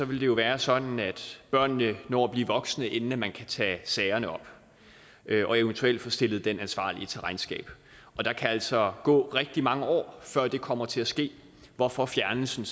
vil det jo være sådan at børnene når at blive voksne inden man kan tage sagerne op og eventuelt få stillet den ansvarlige til regnskab og der kan altså gå rigtig mange år før det kommer til at ske hvorfor fjernelsen